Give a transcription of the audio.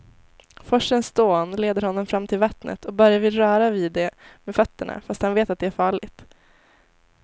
Forsens dån leder honom fram till vattnet och Börje vill röra vid det med fötterna, fast han vet att det är farligt.